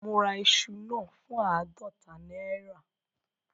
Mo ra iṣu náà fún àádọta náírà